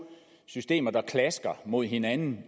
to systemer klasker mod hinanden